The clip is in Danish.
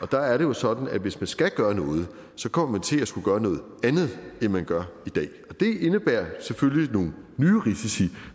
der er det jo sådan at hvis skal gøre noget kommer man til at skulle gøre noget andet end man gør i dag og det indebærer selvfølgelig nogle nye risici